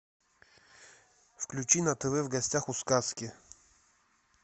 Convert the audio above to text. включи на тв в гостях у сказки